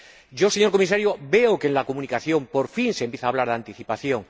Yo, señor Comisario, veo que en la Comunicación por fin se empieza a hablar de anticipación.